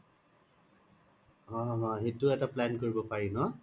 অ অ এইতো এটা plan কৰিব পাৰি ন